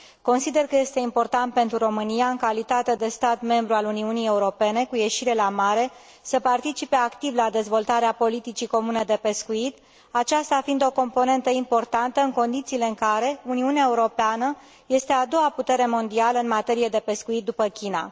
Consider că este important pentru România, în calitate de stat membru al Uniunii Europene cu ieșire la mare, să participe activ la dezvoltarea politicii comune de pescuit, aceasta fiind o componentă importantă, în condițiile în care Uniunea Europeană este a doua putere mondială în materie de pescuit, după China.